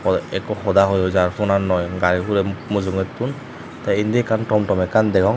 poh ekko hoda hoi hoi jar phonannoi gari hurey mujungettun te indi ekkan tom tom ekkan degong.